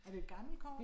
Er det et gammelt kort?